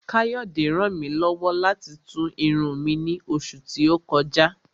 Káyọ̀dé ràn mí lọ́wọ́ láti tú irun mi ní oṣù tí ó kọjá